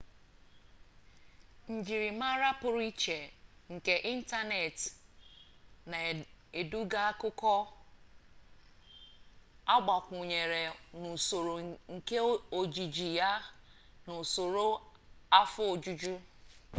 njirimara pụrụ iche nke ịntaneetị na-eduga akụkụ agbakwụnyere n'usoro nke ojiji ya na usoro afọ ojuju